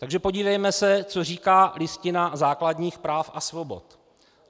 Takže podívejme se, co říká Listina základních práv a svobod.